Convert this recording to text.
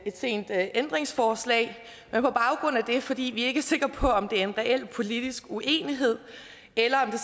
sent ændringsforslag men fordi vi ikke er sikre på om det er en reel politisk uenighed eller om det